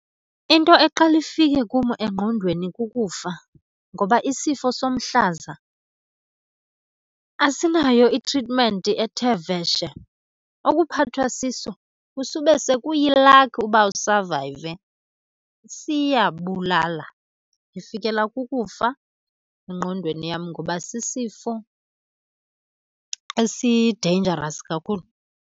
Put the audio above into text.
Into eqala ifike kum engqondweni kukufa, ngoba isifo somhlaza asinayo itritmenti ethe vetshe. Okuphathwa siso kusube sekuyilakhi uba usavayive, siyabulala. Ndifikelwa kukufa engqondweni yam ngoba sisifo esi-dangerous kakhulu.